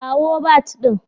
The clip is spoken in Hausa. Kawo bat din